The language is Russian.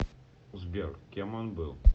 сбер кем он был